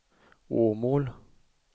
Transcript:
Åmål